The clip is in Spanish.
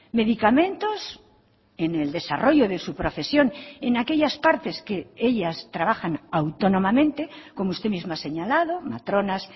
medicamentos en el desarrollo de su profesión en aquellas partes que ellas trabajan autónomamente como usted mismo ha señalado matronas